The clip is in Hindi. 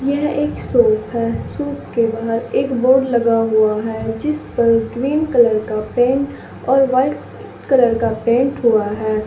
यह एक शौप है शौप के बाहर एक बोर्ड लगा हुआ है जिसपर ग्रीन कलर का पेंट और वाइट कलर का पेंट हुआ है।